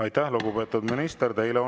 Aitäh, lugupeetud minister!